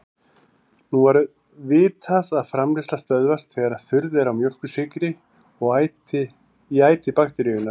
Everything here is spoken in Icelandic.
Nú var vitað að framleiðsla stöðvast þegar þurrð er á mjólkursykri í æti bakteríunnar.